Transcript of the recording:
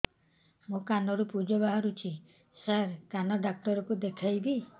ମୋ କାନରୁ ପୁଜ ବାହାରୁଛି ସାର କାନ ଡକ୍ଟର କୁ ଦେଖାଇବି